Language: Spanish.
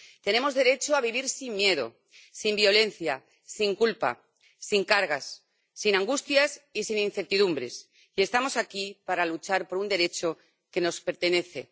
Tenemos derecho a vivir sin miedo, sin violencia, sin culpa, sin cargas, sin angustias y sin incertidumbres, y estamos aquí para luchar por un derecho que nos pertenece.